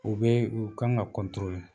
O bɛ u kan ka